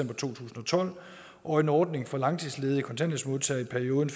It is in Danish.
tusind og tolv og en ordning for langtidsledige kontanthjælpsmodtagere i perioden